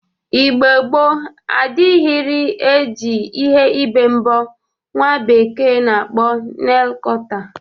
Igbo gboo adịrịghị e ji ihe ibe mbọ nwa bekee na-akpọ neil kọta.